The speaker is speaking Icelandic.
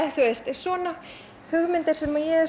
svona hugmyndir sem ég er